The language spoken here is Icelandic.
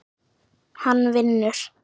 Hann vinnur.